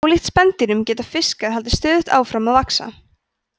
ólíkt spendýrum geta fiskar haldið stöðugt áfram að vaxa